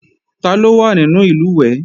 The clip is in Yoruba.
Taló wà nínú ìlùwẹ̀ẹ̀?